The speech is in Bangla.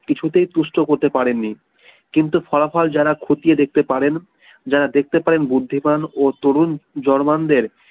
কিছু তেই তুষ্ট করতে পারেন নি কিন্তু ফলাফল যারা খতিয়ে দেখতে পারেন যারা দেখতে পারেন বুঝতে পান ও তরুণ জার্মানদের